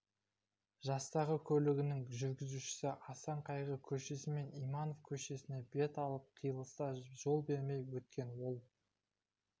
жастағы көлігінің жүргізушісі асан қайғы көшесімен иманов көшесіне бет алған қиылыста жол бермей өткен ол